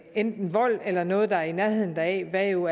enten vold eller noget der er i nærheden deraf hvad jo